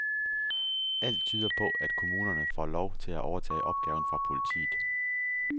Alt tyder på, at kommunerne får lov til at overtage opgaven fra politiet.